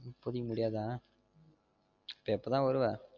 இப்போதைக்கு முடியாத எப்ப தான் வருவ